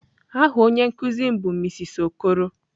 Aha onye nkuzi m bu mrs Okoro.